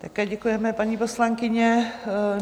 Také děkujeme, paní poslankyně.